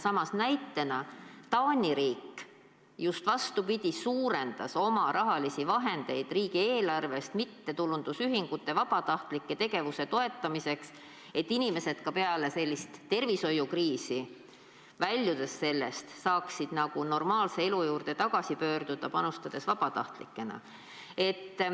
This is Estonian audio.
Samas näitena, Taani riik just vastupidi suurendas oma rahalisi vahendeid riigieelarvest mittetulundusühingute, vabatahtlike tegevuse toetamiseks, et inimesed ka peale sellist tervishoiukriisi, väljudes sellest, saaksid normaalse elu juurde tagasi pöörduda, panustades vabatahtlikena.